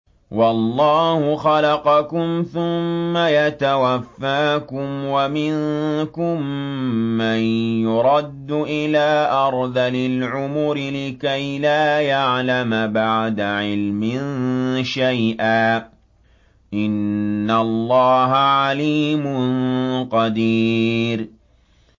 وَاللَّهُ خَلَقَكُمْ ثُمَّ يَتَوَفَّاكُمْ ۚ وَمِنكُم مَّن يُرَدُّ إِلَىٰ أَرْذَلِ الْعُمُرِ لِكَيْ لَا يَعْلَمَ بَعْدَ عِلْمٍ شَيْئًا ۚ إِنَّ اللَّهَ عَلِيمٌ قَدِيرٌ